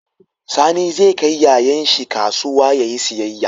Sani ze kai yayan shi kasuwa yayi siyayya